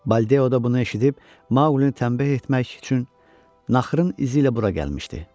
Baldeo da bunu eşidib Maqulini tənbeh etmək üçün naxırın izi ilə bura gəlmişdi.